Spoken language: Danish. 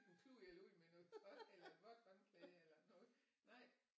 En klud eller ud med noget tøj eller et vådt håndklæde eller noget nej